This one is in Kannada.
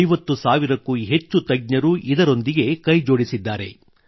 50 ಸಾವಿರಕ್ಕೂ ಹೆಚ್ಚು ತಜ್ಞರು ಇದರೊಂದಿಗೆ ಕೈಜೋಡಿಸಿದ್ದಾರೆ